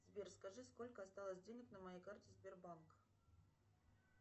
сбер скажи сколько осталось денег на моей карте сбербанк